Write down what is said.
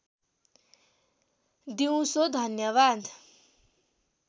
दिउँसो धन्यवाद